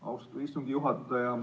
Austatud istungi juhataja!